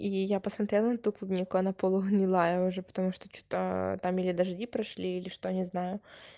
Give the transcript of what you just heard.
и я посмотрел на ту клубнику она полугнилая уже потому что что-то там или дожди прошли или что не знаю